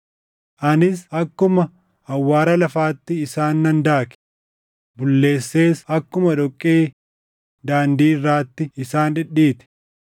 Anis akkuma awwaara lafaatti isaan nan daake; bulleessees akkuma dhoqqee daandii irraatti isaan dhidhiite.